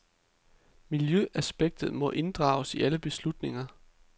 Miljøaspektet må inddrages i alle beslutninger.